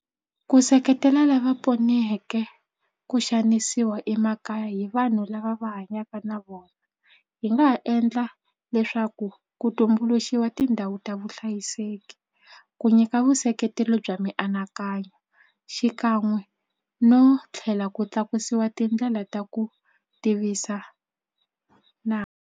Ku seketela lava poneke ku xanisiwa emakaya hi vanhu lava va hanyaka na vona hi nga ha endla leswaku ku tumbuluxiwa tindhawu ta vona vuhlayiseki ku nyika vuseketeri bya mianakanyo xikan'we no tlhela ku tlakusiwa tindlela ta ku tivisa na.